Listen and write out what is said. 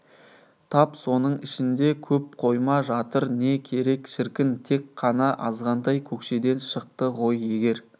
тап соның ішінде көп қойма жатыр не керек шіркін тек қана азғантай көкшеден шықты ғой егер